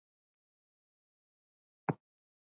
Ágústa Ýr.